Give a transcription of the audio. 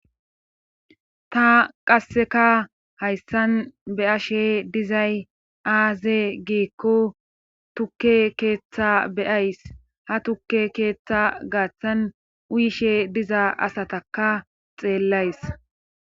ta qasseka hayssan be7ashe dizay aaze giikko tukke keeththa beyays ha tukke keeththa gaaththan uyishe diza asataka xeellays